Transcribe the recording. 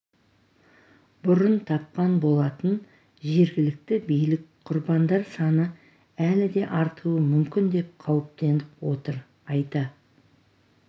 бұрын тапқан болатын жергілікті билік құрбандар саны әлі де артуы мүмкін деп қауіптеніп отыр айта